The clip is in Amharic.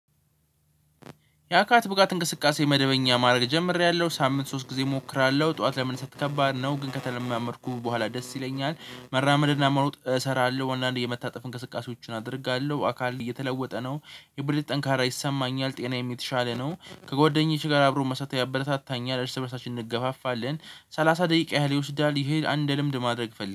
ያካል ብቃት እንቅስቃሴ መደበኛ ማድረግ ጀምሬያለሁ። ሳምንት ሶስት ጊዜ እሞክራለሁ። ጠዋት ለመነሳት ከባድ ነው። ግን ከተለማመድኩ በኋላ ደስ ይለኛል። መራመድና መሮጥ እሰራለሁ። አንዳንዴ የመታጠፍ እንቅስቃሴዎችን አድርጋለሁ። አካል እየተለወጠ ነው። የብልት ጠንካራ ይሰማኛል። ጤናዬም የተሻለ ነው። ከጓደኞች ጋር አብሮ መስራት ያበረታታኛል። እርስ በእርሳችን እንገፋፋለን። ሰላሳ ደቂቃ ያህል ይወስዳል። ይሄን አንድ ልምድ ማድረግ ፈልግ